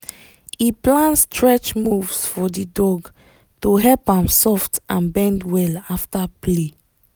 he plan stretch moves for the dog to help am soft and bend well after play